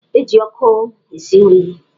E ji ọkụ esi nri.